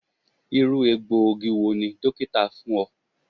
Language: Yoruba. Iru egboogi wo ni dokita fun ọ?